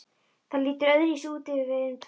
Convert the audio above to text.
Það lítur öðruvísi út ef við erum tvær.